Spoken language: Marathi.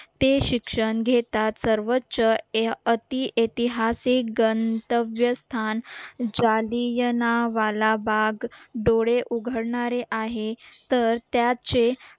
ते शिक्षण घेतात सर्वोच्च ए अति ऐतिहासिक गंतव्य स्थान जालियनवाला बाग डोळे उघडणारे आहे तर त्याचे